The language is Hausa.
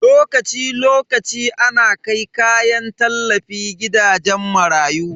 Lokaci lokaci ana kai kayan tallafi gidajen marayu.